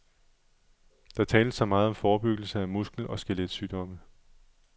Der tales så meget om forebyggelse af muskel og skelet sygdomme.